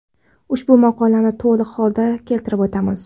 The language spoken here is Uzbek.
Ushbu maqolani to‘liq holda keltirib o‘tamiz.